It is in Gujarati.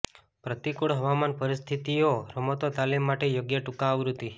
પ્રતિકૂળ હવામાન પરિસ્થિતિઓ રમતો તાલીમ માટે યોગ્ય ટૂંકા આવૃત્તિ